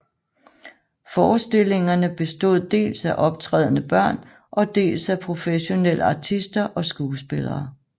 Forestillingerne bestod dels af optrædende børn og dels af professionelle artister og skuespillere